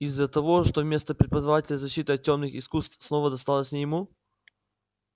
из-за того что место преподавателя защиты от тёмных искусств снова досталось не ему